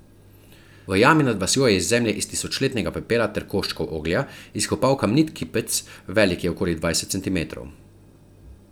V jami nad vasjo je iz zemlje in tisočletnega pepela ter koščkov oglja izkopal kamnit kipec, velik je okoli dvajset centimetrov.